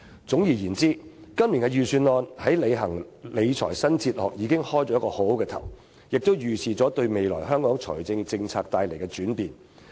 總而言之，今年的預算案為實踐"理財新哲學"開了個好頭，亦預示了未來香港財政政策的轉變。